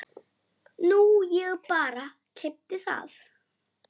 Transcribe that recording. Nú ég bara. keypti það.